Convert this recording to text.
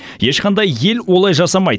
ешқандай ел олай жасамайды